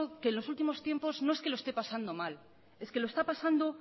que en los últimos tiempos no es que lo esté pasando mal es que lo está pasando